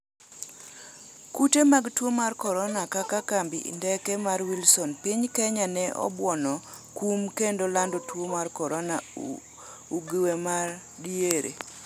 kute mag tuo mar korona: kaka kambi ndeke mar Wilson piny Kenya ne obuono kum kendo lando tuo mar korona ugew ma diere